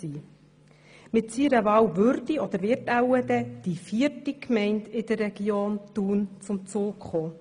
Mit seiner Wahl würde – oder wird wahrscheinlich – die vierte Gemeinde in der Region Thun zum Zuge kommen.